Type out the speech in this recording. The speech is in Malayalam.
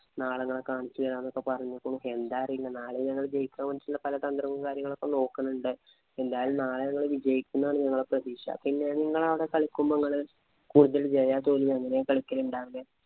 നാളെ ഞാൻ കാണിച്ചു തരാന്നൊക്കെ പറഞ്ഞിട്ട് എന്താന്നറിയില്ല നാളെ ഞങ്ങള് ജയിക്കാൻ വേണ്ടിയുള്ള പല തന്ത്രങ്ങളും കാര്യങ്ങളും ഒക്കെ നോക്കുന്നുണ്ട് എന്തായാലും നാളെ ഞങ്ങൾ വിജയിക്കും എന്നാണ് ഞങ്ങളെ പ്രതീക്ഷ പിന്നെ നിങ്ങളുടെ അവിടെ കളിക്കുമ്പോഴും